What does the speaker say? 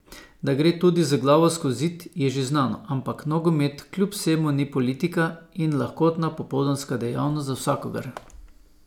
Da gre tudi z glavo skozi zid, je že znano, ampak nogomet kljub vsemu ni politika in lahkotna popoldanska dejavnost za vsakogar.